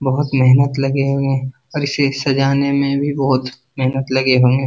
बहुत मेहनत लगे हुए हैं और इसे सजाने में भी बहुत मेहनत लगे हुए --